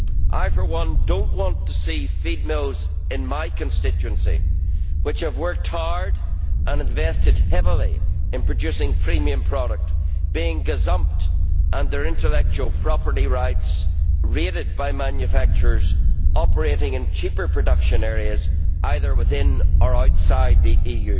I, for one, do not want to see feed mills in my constituency, which have worked hard and invested heavily in producing premium product, being gazumped and their intellectual property rights raided by manufacturers operating in cheaper production areas, either within or outside the EU.